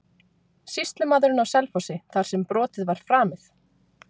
Sýslumaðurinn á Selfossi þar sem brotið var framið?